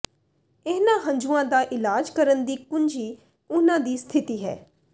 ਇਨ੍ਹਾਂ ਹੰਝੂਆਂ ਦਾ ਇਲਾਜ ਕਰਨ ਦੀ ਕੁੰਜੀ ਉਹਨਾਂ ਦੀ ਸਥਿਤੀ ਹੈ